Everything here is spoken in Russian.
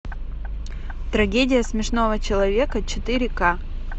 трагедия смешного человека четыре к